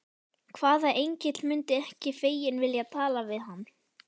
Hvaða engill mundi ekki feginn vilja tala við hann?